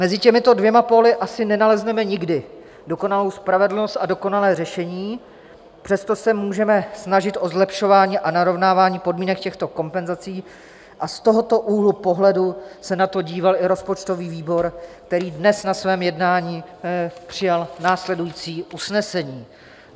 Mezi těmito dvěma póly asi nenalezneme nikdy dokonalou spravedlnost a dokonalé řešení, přesto se můžeme snažit o zlepšování a narovnávání podmínek těchto kompenzací, a z tohoto úhlu pohledu se na to díval i rozpočtový výbor, který dnes na svém jednání přijal následující usnesení: